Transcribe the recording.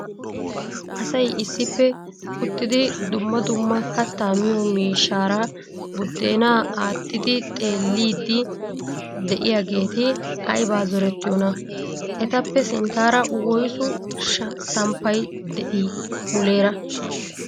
Asay issippe uttidi dumma dumma kattaa miyo miishshara buddeena aattidi xeelliidi de'iyaageeti aybba zorettiyoona? Etappe sinttaara woyssu samppay de'ii muleera?